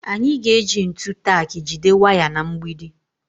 Anyị ga-eji ntu tak jide waya na mgbidi